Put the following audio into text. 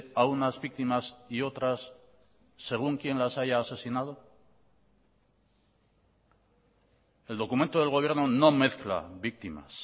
a unas víctimas y otras según quién las haya asesinado el documento del gobierno no mezcla víctimas